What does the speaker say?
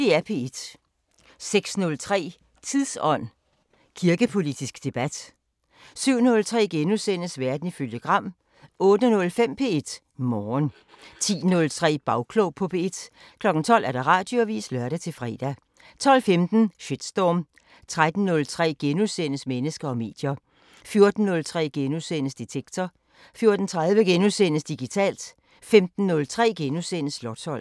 06:03: Tidsånd: Kirkepolitisk debat 07:03: Verden ifølge Gram * 08:05: P1 Morgen 10:03: Bagklog på P1 12:00: Radioavisen (lør-fre) 12:15: Shitstorm 13:03: Mennesker og medier * 14:03: Detektor * 14:30: Digitalt * 15:03: Slotsholmen *